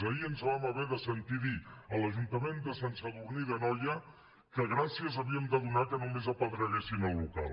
ahir ens vam haver de sentir dir a l’ajuntament de sant sadurní d’anoia que gràcies havíem de donar que només apedreguessin el local